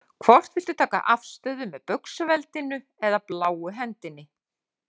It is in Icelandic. Hvort viltu taka afstöðu með Baugsveldinu eða bláu hendinni?